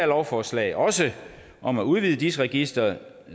lovforslag også om at udvide dis registeret